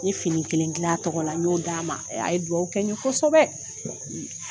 N ye fini kelen gil'a tɔgɔla n y'o d'a ma e a ye dugawu kɛ ye kosɛbɛ